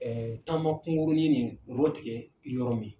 Ɛɛ taama kungurunin min u y'o tigɛ yɔrɔ min